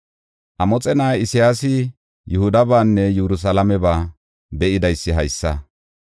Amoxe na7ay Isayaasi Yihudabaanne Yerusalaameba be7idaysi haysa.